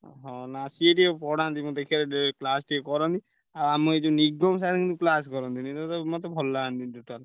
ହଁ ନା ସିଏ ଟିକେ ପଢାନ୍ତି ମୁଁ ଦେଖିଆରେ class ଟିକେ କରାନ୍ତି। ଆଉ ଆମ ଏ ଯୋଉ ନିଗମ sir କିନ୍ତୁ class କରନ୍ତିନି। ମତେ ଭଲ ଲାଗନ୍ତିନି total ।